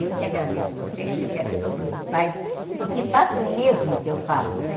Eu que agradeço vocês, que eu quero que todo mundo saiba e que faça o mesmo que eu faço, né?